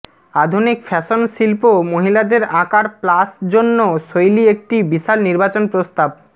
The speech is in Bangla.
আধুনিক ফ্যাশন শিল্প মহিলাদের আকার প্লাস জন্য শৈলী একটি বিশাল নির্বাচন প্রস্তাব